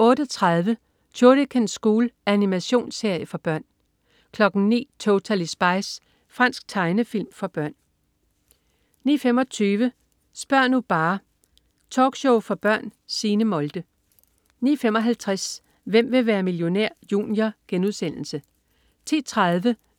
08.30 Shuriken School. Animationsserie for børn 09.00 Totally Spies. Fransk tegnefilm for børn 09.25 Spør' nu bare! Talkshow for børn. Signe Molde 09.55 Hvem vil være millionær? Junior* 10.30